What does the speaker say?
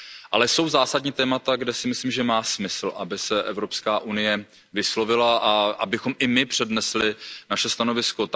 Ale jsou zásadní témata, kde si myslím, že má smysl, aby se Evropská unie vyslovila a abychom i my přednesli naše stanovisko.